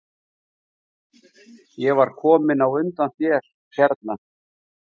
Ég var kominn á undan þér hérna?